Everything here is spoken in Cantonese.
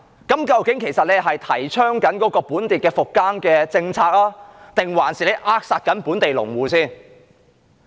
究竟這樣是提倡本地復耕政策，還是在扼殺本地農戶？